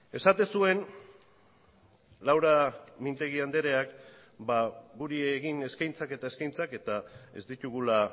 esaten zuen laura mintegi andereak guri egin eskaintzak eta eskaintzak eta ez ditugula